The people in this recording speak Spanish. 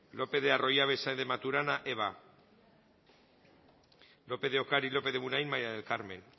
lopez de arroyabe saez de maturana eva lópez de ocariz lópez de munain maría del carmen